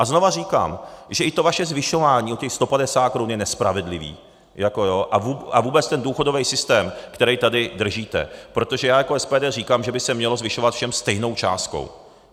A znovu říkám, že i to vaše zvyšování o těch 150 korun je nespravedlivé a vůbec ten důchodový systém, který tady držíte, protože já jako SPD říkám, že by se mělo zvyšovat všem stejnou částkou.